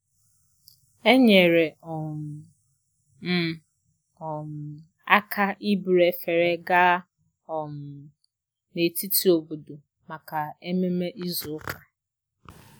enyere um m um aka iburu efere gaa um n'etiti obodo maka ememe izu ụka